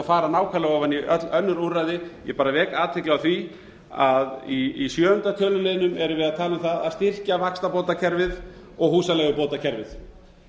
fara nákvæmlega ofan í öll önnur úrræði ég bara vek athygli á því að í sjöunda töluliðnum erum við að tala um það að styrkja vaxtabótakerfið og húsaleigubótakerfið